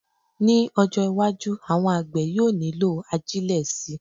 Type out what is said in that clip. Ní ọjọ́-iwájú, àwọn àgbẹ̀ yóò nílò ajílẹ̀ síi.